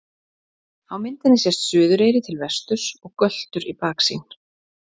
Á myndinni sést Suðureyri til vesturs og Göltur í baksýn.